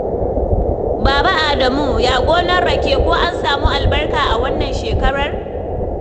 Baba Adamu, ya gonar rake? Ko an samu albarka a wannan shekarar?